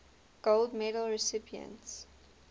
gold medal recipients